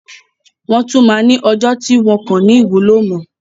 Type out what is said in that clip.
Wọ́n tún máa ní ọjọ́ tí wọn kò ní wúlò mo.